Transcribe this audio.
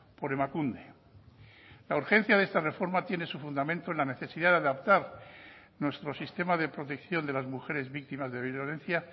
por emakunde la urgencia de esta reforma tiene su fundamento en la necesidad de adaptar nuestro sistema de protección de las mujeres víctimas de violencia